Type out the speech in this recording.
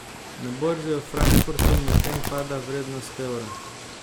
Na borzi v Frankfurtu medtem pada vrednost evra.